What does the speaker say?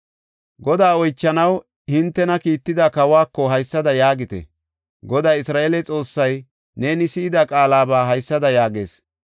Godaa oychanaw hintena kiitida kawako haysada yaagite; ‘Goday Isra7eele Xoossay neeni si7ida qaalaba haysada yaagees.